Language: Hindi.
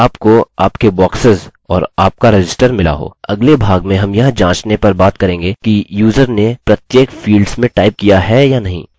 अगले भाग में हम यह जांचने पर बात करेंगे कि यूज़र ने प्रत्येक फील्ड्स में टाइप किया है या नहीं